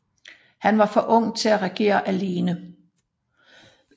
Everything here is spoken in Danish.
Han var for ung til at regere alene